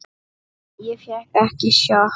Ég fékk ekki sjokk.